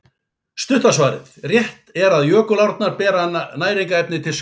Stutta svarið: Rétt er að jökulárnar bera næringarefni til sjávar.